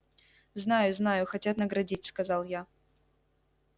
знаю знаю хотят наградить сказал я